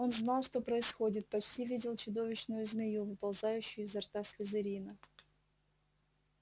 он знал что происходит почти видел чудовищную змею выползающую изо рта слизерина